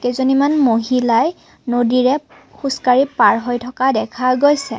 কেইজনীমান মহিলাই নদীৰে খোজকাঢ়ি পাৰ হৈ থকা দেখা গৈছে।